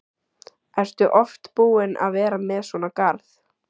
Ertu oft búin að vera með svona garð?